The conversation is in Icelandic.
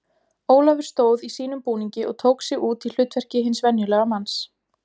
Ólafur stóð í sínum búningi og tók sig út í hlutverki hins venjulega manns.